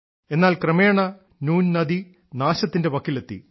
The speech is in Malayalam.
എന്നാൽ ക്രമേണ നൂൻ നദി നാശത്തിന്റെ വക്കിലെത്തി